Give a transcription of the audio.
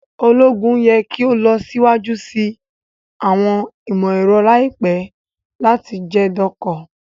Ologun yẹ ki o lọ siwaju si awọn imọ-ẹrọ laipẹ lati jẹ doko